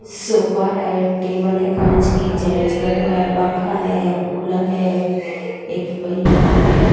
sofa है table है कांच की जेंट्स बैठा हुआ है पंखा है कूलर है एक पहिया है --